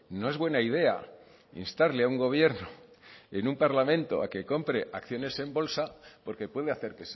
no es buena idea instarle a un gobierno en un parlamento a que compre acciones en bolsa porque puede hacer